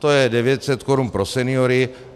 To je 900 korun pro seniory.